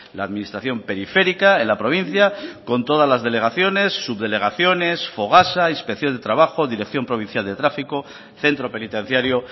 la administración periférica en la provincia con todas las delegaciones subdelegaciones fogasa inspección de trabajo dirección provincial de tráfico centro penitenciario